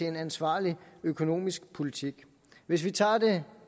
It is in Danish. en ansvarlig økonomisk politik hvis vi tager det